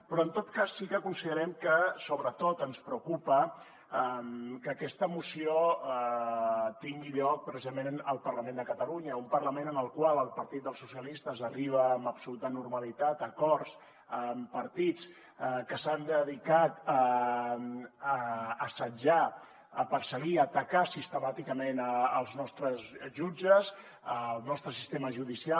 però en tot cas sí que considerem que sobretot ens preocupa que aquesta moció tingui lloc precisament al parlament de catalunya un parlament en el qual el partit socialistes arriba amb absoluta normalitat a acords amb partits que s’han dedicat a assetjar a perseguir i a atacar sistemàticament els nostres jutges el nostre sistema judicial